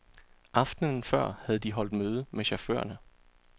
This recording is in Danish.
Aftenen før havde de holdt møde med chaufførerne.